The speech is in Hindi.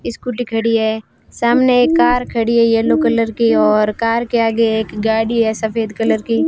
स्कूटी खड़ी है सामने एक कार खड़ी है येलो कलर की और कार के आगे एक गाड़ी है सफेद कलर की।